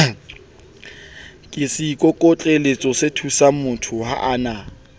ke seikokotlelosethusangmotho ha a na